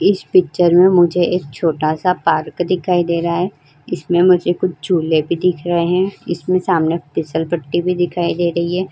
इस पिक्चर में मुझे एक छोटा सा पार्क दिखाई दे रहा है। इसमें मुझे कुछ झूले भी दिख रहे हैं। इसमें सामने फिसलपट्टी भी दिखाई दे रही है।